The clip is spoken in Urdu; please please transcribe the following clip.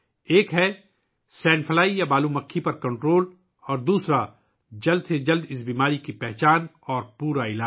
ایک تو سینڈ فلائی پر قابو پانا اور دوسرا اس بیماری کی جلد از جلد شناخت اور مکمل علاج